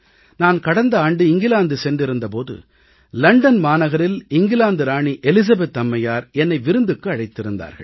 நான் கடந்த ஆண்டு இங்கிலாந்து சென்றிருந்த போது லண்டன் மாநகரில் இங்கிலாந்து ராணி எலிசபெத் அம்மையார் என்னை விருந்துக்கு அழைத்திருந்தார்கள்